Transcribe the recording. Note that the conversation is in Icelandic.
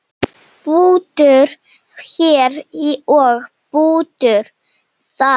Bútur hér og bútur þar.